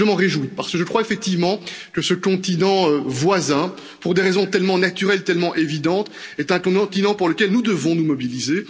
Je m'en réjouis parce que je crois effectivement que ce continent voisin est, pour des raisons tellement naturelles, tellement évidentes, un continent pour lequel nous devons nous mobiliser.